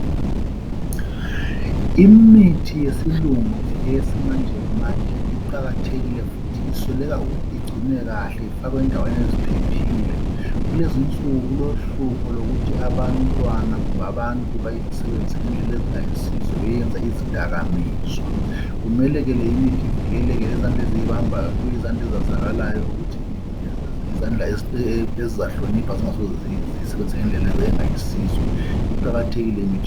Imithi yesilungu eyesimanje manje iqakathekile futhi isweleka ukuthi igcinwe kahle ifakwe endaweni eziphephile. Kulezinsuku kulohlupho lokuthi abantwana kumbe abantu beyesebenzise ngendlela ezingayisizo beyenze izidakamizwa. Kumele ke limithi ivikeleke lezandla eziyibambayo zibe yizandla ezezakalayo ukuthi yizandla ezizahlonipha zingasoze ziyisebenze ngendlela engayisizo iqakathekile imithi.